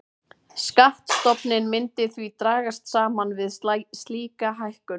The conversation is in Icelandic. Skattstofninn myndi því dragast saman við slíka hækkun.